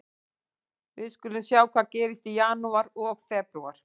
Við skulum sjá hvað gerist í janúar og febrúar.